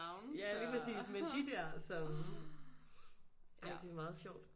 Ja lige præcis men de der som ej det er meget sjovt